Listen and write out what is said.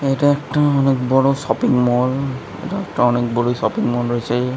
এটা একটা অনেক বড়ো শপিংমল এটা অনেক বড়ো শপিংমল রয়েছে ।